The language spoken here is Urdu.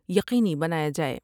یقینی بنایا جاۓ ۔